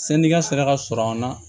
Sannikɛ sira ka sɔrɔ an na